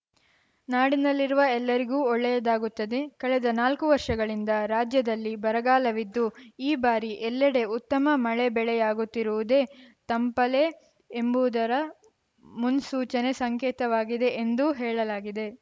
ನಾಡಿನಲ್ಲಿರುವ ಎಲ್ಲರಿಗೂ ಒಳ್ಳೆಯದಾಗುತ್ತದೆ ಕಳೆದ ನಾಲ್ಕು ವರ್ಷಗಳಿಂದ ರಾಜ್ಯದಲ್ಲಿ ಬರಗಾಲವಿದ್ದು ಈ ಬಾರಿ ಎಲ್ಲಡೆ ಉತ್ತಮ ಮಳೆಬೆಳೆಯಾಗುತ್ತಿರುವುದೇ ತಂಪಲೇ ಎಂಬುದರ ಮುನ್ಸೂಚನೆ ಸಂಕೇತವಾಗಿದೆ ಎಂದು ಹೇಳಲಾಗಿದೆ